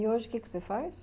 E hoje o que é que você faz?